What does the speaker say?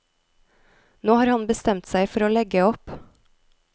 Nå har han bestemt seg for å legge opp.